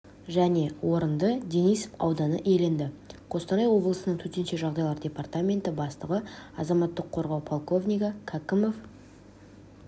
және орынды денисов ауданы иеленді қостанай облысының төтенше жағдайлар департаменті бастығы азаматтық қорғау полковнигі кәкімов